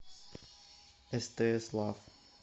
стс лав